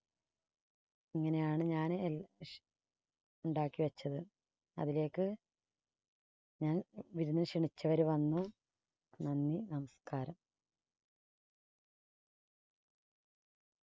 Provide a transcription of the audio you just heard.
ഇങ്ങനെയാണ് ഞാന് എൽ ഉണ്ടാക്കി വെച്ചത് അതിലേക്ക് ഞാൻ വിരുന്നിന് ക്ഷണിച്ചവര് വന്നു നന്ദി, നമസ്കാരം.